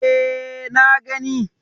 E, na gani.